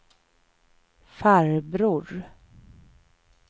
farbror